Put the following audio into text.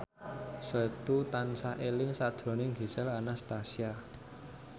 Setu tansah eling sakjroning Gisel Anastasia